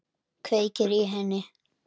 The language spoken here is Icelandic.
Kveikir í henni.